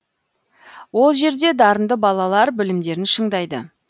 ол жерде дарынды балалар білімдерін шыңдайды